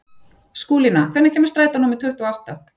Skúlína, hvenær kemur strætó númer tuttugu og átta?